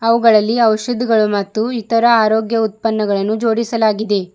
ಅವುಗಳಲ್ಲಿ ಔಷಧಿಗಳು ಮತ್ತು ಇತರ ಆರೋಗ್ಯ ಉತ್ಪನ್ನಗಳನ್ನು ಜೋಡಿಸಲಾಗಿದೆ.